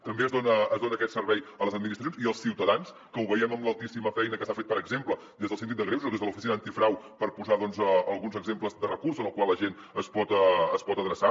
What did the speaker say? també es dona aquest servei a les administracions i als ciutadans que ho veiem amb l’altíssima feina que s’ha fet per exemple des del síndic de greuges o des de l’oficina antifrau per posar alguns exemples de recurs als quals la gent es pot adreçar